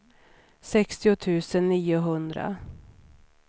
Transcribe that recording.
sextio tusen niohundra